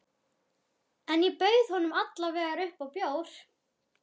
En ég bauð honum alla vega upp á bjór.